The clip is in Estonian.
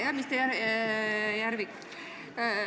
Hea minister Järvik!